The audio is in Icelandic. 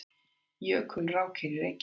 Jökulrákir í Reykjavík.